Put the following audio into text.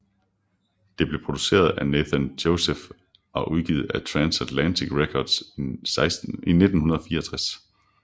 Det blev produceret at Nathan Joseph og udgivet af Transatlantic Records i 1964